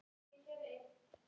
Þau voru svo ólík hjónin.